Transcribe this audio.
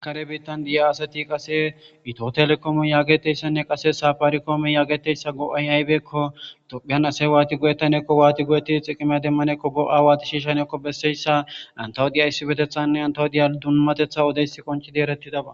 kare biittan di'ya asati qase ito telekome yaageteyssanne qase saapaarikoome yaageteyssa go'ay aybeekko tophyan asay waati go'etanekko waatid xiqimiys demmanekko go'a waati shiishanekko besseyssa antawu diya issipetethanne antawu diya dunmatetha odeysi qonchidi erettidaba